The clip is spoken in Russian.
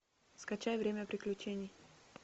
скачай время приключений